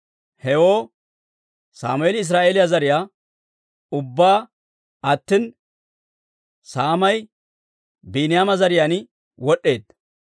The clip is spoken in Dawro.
Hewoo Sammeeli Israa'eeliyaa zariyaa ubbaa aatsina, saamay Biiniyaama zariyaan wod'd'eedda.